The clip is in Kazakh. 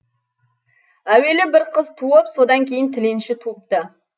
әуелі бір қыз туып содан кейін тіленші туыпты